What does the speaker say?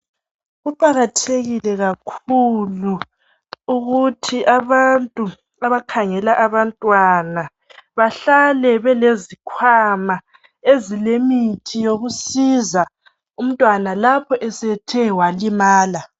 Kuqakathekile kakhulu ukuthi abantu abakhangela abantwana bahlale belezikhwama ezilemithi yokusiza umntwana lapho esethe walimala.